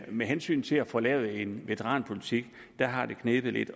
med hensyn til at få lavet en veteranpolitik har det knebet lidt